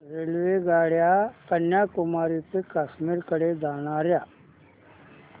रेल्वेगाड्या कन्याकुमारी ते काश्मीर कडे जाणाऱ्या